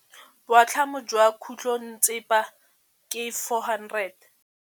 Boatlhamô jwa khutlonnetsepa e, ke 400.